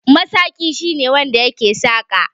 Masaƙi shine wanda yake saƙa.